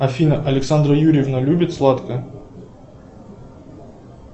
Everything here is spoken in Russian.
афина александра юрьевна любит сладкое